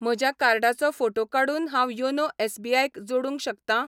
म्हज्या कार्डाचो फोटो काडून हांव योनो एस.बी.आय क जोडूंक शकतां?